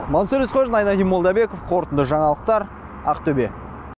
мансұр есқожин айнадин молдабеков қорытынды жаңалықтар ақтөбе